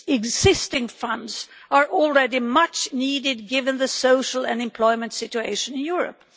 Existing funds are already much needed given the social and employment situation in Europe.